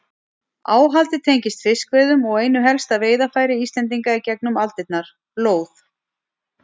Áhaldið tengist fiskveiðum og einu helsta veiðarfæri Íslendinga í gegnum aldirnar, lóð.